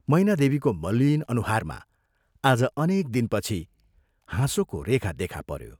मैनादेवीको मलिन अनुहारमा आज अनेक दिनपछि हाँसोको रेखा देखा पऱ्यो।